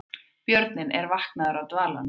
Björninn er vaknaður af dvalanum